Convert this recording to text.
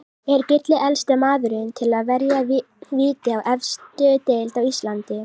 Er Gulli elsti maðurinn til að verja víti í efstu deild á Íslandi?